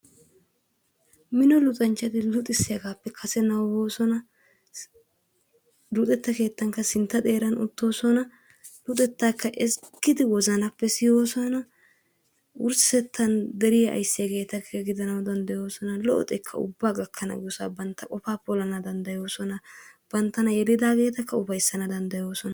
Mino luxxanchchati luxissiyagaappe kase nabbabooson, luxetta keettanikka sintta xeeraan uttoosona, luxettaakka ezggidi wozanappe siyoosona, wurssettaan deriya aysiyaageetakka gidanawu danddayoosona. Lo"o xekka ubbaa gakkana danddayosona banta qofaa polanawu danddayoosona, banttana gelidaagettakka ufayssana danddayoosona